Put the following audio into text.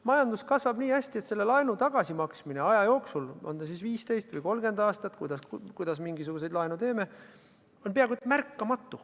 Majandus kasvab nii hästi, et laenu tagasimaksmine aja jooksul – on ta siis 15 või 30 aastat, olenevalt sellest, kuidas me mingisuguse laenu teeme – on peaaegu märkamatu.